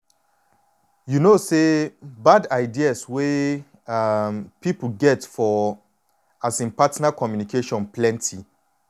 you know say bad ideas wey um people get for um partner communication plenty